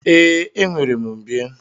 Ee, enwere m mbie.